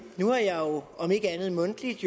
nu har jeg om ikke andet mundtligt